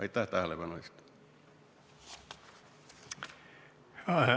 Aitäh tähelepanu eest!